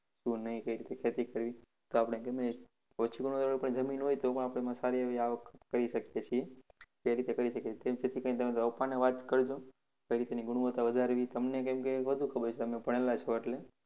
શું નહિ કઈ રીતે ખેતી કરવી તો આપણે ગમે તેવી ઓછી ગુણવત્તાવાળી જમીન હોય તો પણ આપણે સારી એવી અવાક કરી શકીએ છીએ. કેવી રીતે કરી શકીએ તમારા પપ્પાને વાત કરજો કેવી રીતે તેની ગુણવત્તા વધારવી? તમને કેમ કે વધુ ખબર છે કેમ કે ભણેલા છો એટલે.